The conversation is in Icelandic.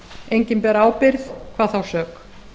enginn ber ábyrgð hvað þá sök